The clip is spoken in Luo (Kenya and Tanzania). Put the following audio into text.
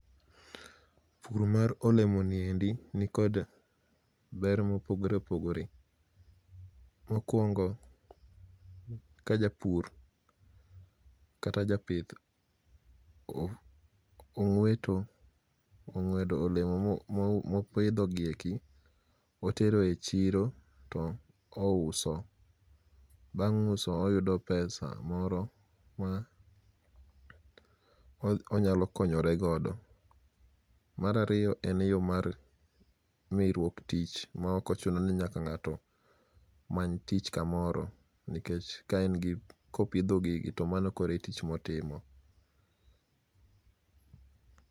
pur mar olemo ni endi ni kod ber mopogore opogore ,mokuongo ka japur kata japith ong'ueto ong'uedo olemo ma opidho gi eki motero e chiro to uso bang' uso ioyudo pesa moro ma onyalo konyore godo, mar ariyo en yo mar miruok tich ma ok ochuno ni nyaka ng'ato many tich kamoro ,nikech ka en gi kopidho gigi to mano koro e tich motimo